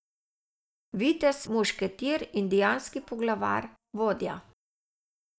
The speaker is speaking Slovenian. Vitez, mušketir, indijanski poglavar, vodja.